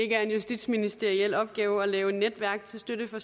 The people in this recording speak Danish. er justitsministeriel opgave at lave netværk til støtte for